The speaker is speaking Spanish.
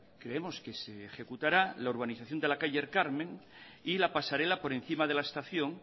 creemos que se ejecutará la urbanización de la calle el carmen y la pasarela por encima de la estación